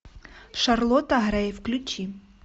шарлотта грей включи